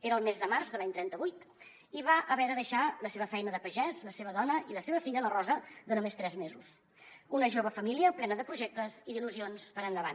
era el mes de març de l’any trenta vuit i va haver de deixar la seva feina de pagès la seva dona i la seva filla la rosa de només tres mesos una jove família plena de projectes i d’il·lusions per endavant